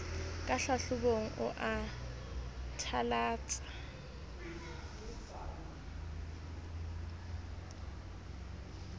ka hlahlobong o a thalatsa